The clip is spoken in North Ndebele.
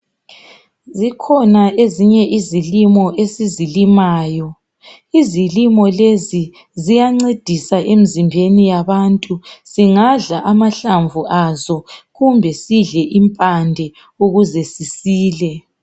Zikhona ezinye izilimo esizilimayo. Izilimo lezi ziyancedisa emizimbeni yabantu, singadla amahlamvu aso kumbe sidle impande ukuze sisile.